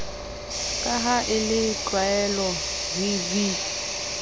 ka ha e le tlwaelovv